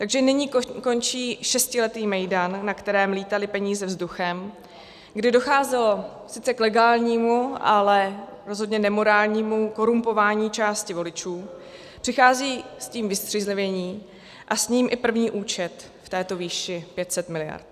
Takže nyní končí šestiletý mejdan, na kterém létaly peníze vzduchem, kdy docházelo sice k legálnímu, ale rozhodně nemorálnímu korumpování části voličů, přichází s tím vystřízlivění a s ním i první účet v této výši 500 miliard.